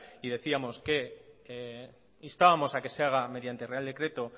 y decíamos que instábamos a que se haga mediante real decreto